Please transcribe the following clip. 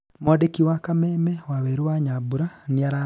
mwandĩki wa kameme waweru wa nyambũra nĩararanĩirie na amwe ao